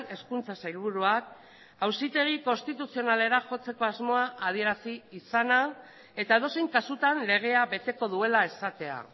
hezkuntza sailburuak auzitegi konstituzionalera jotzeko asmoa adierazi izana eta edozein kasutan legea beteko duela esatea